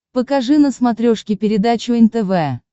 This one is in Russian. покажи на смотрешке передачу нтв